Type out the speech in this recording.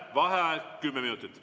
Vaheaeg kümme minutit.